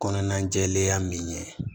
Kɔnɔna jɛlenya min ye